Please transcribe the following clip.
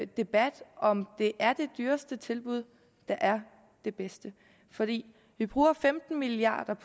debat om det er det dyreste tilbud der er det bedste for vi vi bruger femten milliard